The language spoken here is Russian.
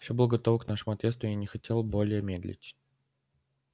всё было готово к нашему отъезду я не хотел более медлить